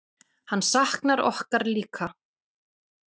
Hann saknar okkur líka.